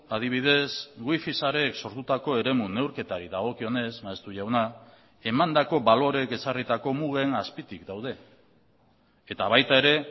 adibidez wifi sareek sortutako eremu neurketari dagokionez maeztu jauna emandako baloreek ezarritako mugen azpitik daude eta baita ere